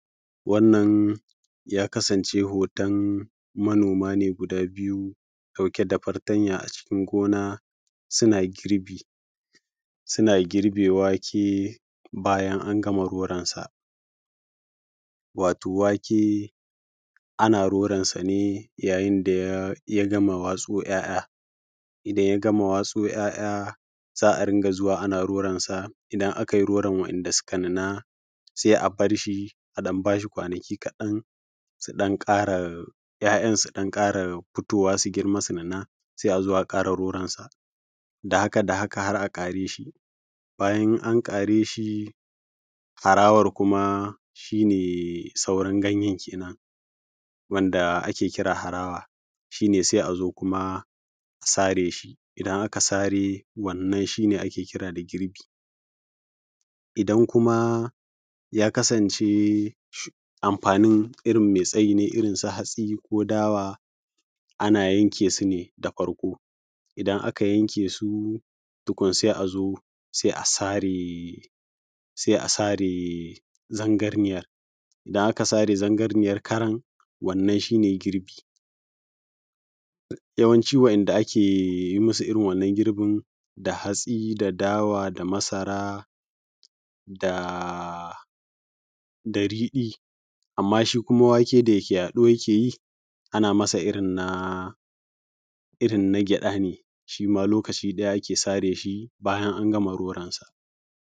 Wannan ya kasance hoton manoma ne guda biyu ɗauke da fatanya a cikin gona suna girbi. Suna girbe wake bayan an gama roran sa. Wato wake ana roran sa ne yayin da ya gama watso ya’ya, idan ya gama watso ‘ya’ya za a ringa zuwa ana roran sa, idan aka yi roron wanda suka nuna sai a bar shi a ɗan bashi wani kwanaki kaɗan su ɗan ƙara ‘ya’ya su ɗan ƙara fitowa su girma, su nuna sai a zo zo a ƙara roronsa da haka da haka har a ƙare shi, bayan an ƙare shi harawan kuma shi ne sauran ganyan kenan da ake kira da harawan. Shi ne sai a zo kuma a sare shi, idan aka sare shi, wannan shi ne ake kira da girbi. Idan kuma ya kasance amfanin irin mai tsayi ne irin su hatsi, ko dawa, ana yanke su ne da farko, idan aka yanke su tukun sai a zo sai a sare zarganiyar, idan aka sare zarganiyar karan wannan shi ne girbi. Yawanci wa’inda ake irin wannan girbin da hatsi, da dawa, da masara, da riɗi. Amma shi kuma wake da yake yaɗo yake ana masa irin na irin na gyaɗa ne shi ma lokaci ɗaya ake sare shi bayan an gama roran sa.